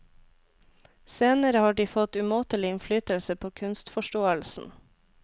Senere har de fått umåtelig innflytelse på kunstforståelsen.